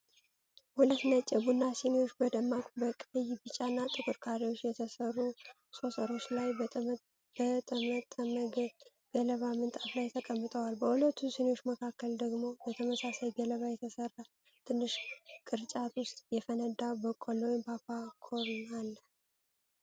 ሁለት ነጭ የቡና ሲኒዎች፣ በደማቅ በቀይ፣ ቢጫ እና ጥቁር ካሬዎች በተሰሩ ሶሰሮች ላይ፣ በጠመጠመ ገለባ ምንጣፍ ላይ ተቀምጠዋል። በሁለቱ ሲኒዎች መካከል ደግሞ በተመሳሳይ ገለባ በተሰራ ትንሽ ቅርጫት ውስጥ የፈነዳ በቆሎ (ፖፖኮርን) አለ።